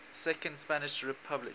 second spanish republic